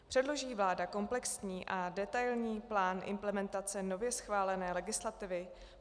Předloží vláda komplexní a detailní plán implementace nově schválené legislativy?